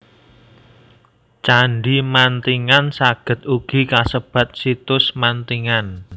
Candhi Mantingan saged ugi kasebat Situs Mantingan